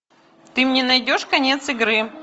ты мне найдешь конец игры